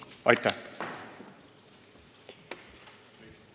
Aitäh!